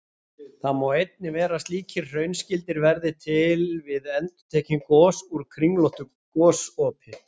Þó má einnig vera að slíkir hraunskildir verði til við endurtekin gos úr kringlóttu gosopi.